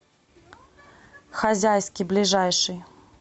хозяйский ближайший